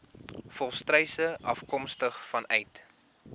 volstruise afkomstig vanuit